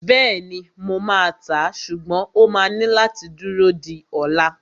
Bẹ́ẹ̀ni, mo máa tàá, ṣùgbọ́n o máa ní láti dúró di ola